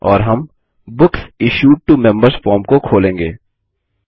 और हम books issued to members form को खोलेंगे